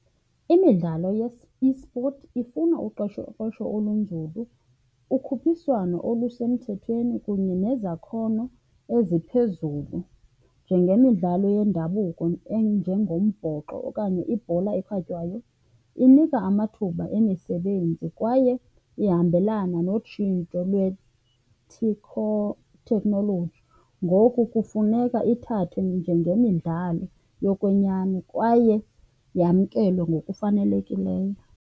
imidlalo eSports ifuna olunzulu, ukhuphiswano olusemthethweni kunye nezakhono eziphezulu. Njengemidlalo yendabuko enjengombhoxo okanye ibhola ekhatywayo, inika kuba amathuba emisebenzi kwaye ihambelana notshintsho technology. Ngoku kufuneka ithathwe njengemidlalo yokwenyani kwaye yamkelwe ngokufanelekileyo.